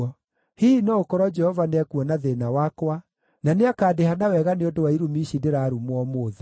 Hihi no gũkorwo Jehova nĩekuona thĩĩna wakwa, na nĩakandĩha na wega nĩ ũndũ wa irumi ici ndĩrarumwo ũmũthĩ.”